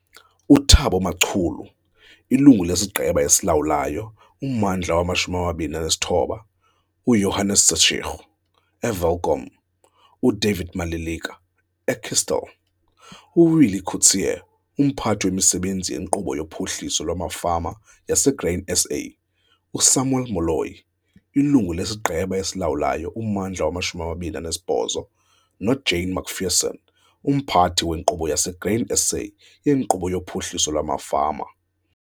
UThabo Macholo, Ilungu lesiGqeba esiLawulayo -Ummandla we-29, uJohannes Setshego, eWelkom, uDavid Maleleka, eKestell, uWillie Kotzé, uMphathi wemiSebenzi yeNkqubo yoPhuhliso lwamaFama yaseGrain SA, uSamuel Moloi, Ilungu lesiGqeba esiLawulayo - Ummandla we-28, noJane McPherson, uMphathi weNkqubo yaseGrain SA yeNkqubo yoPhuhliso lwamaFama.